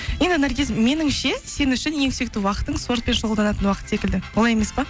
енді наргиз меніңше сен үшін ең сүйікті уақытың спортпен шұғылданатын уақыт секілді олай емес пе